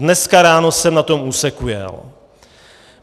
Dnes ráno jsem na tom úseku jel.